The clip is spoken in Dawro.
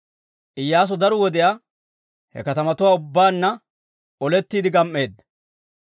Iyyaasu daro wodiyaa he kaatetuwaa ubbaanna olettiidde gam"eedda.